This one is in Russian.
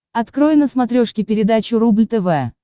открой на смотрешке передачу рубль тв